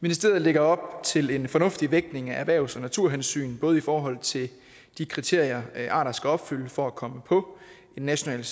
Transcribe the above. ministeriet lægger op til en fornuftig vægtning af erhvervs og naturhensyn både i forhold til de kriterier arter skal opfylde for at komme på en national